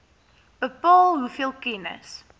bepaal hoeveel kennis